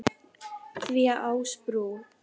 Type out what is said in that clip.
því að Ásbrú